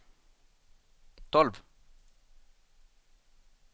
tolv